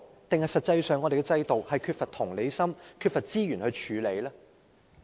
還是實際上，我們的制度在處理問題時缺乏同理心和資源呢？